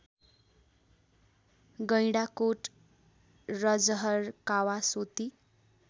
Gaindakot Rajahar Kawasoti